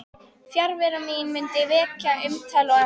Fjarvera mín mundi vekja umtal og athygli.